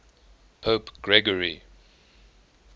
pope gregory